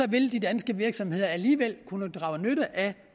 vil de danske virksomheder alligevel kunne drage nytte af